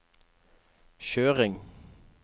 kjøring